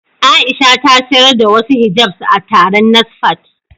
Aisha ta sayar da wasu hijabs a taron NASFAT.